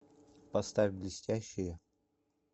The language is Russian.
поставь блестящие